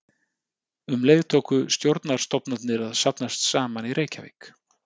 Um leið tóku stjórnarstofnanir að safnast saman í Reykjavík.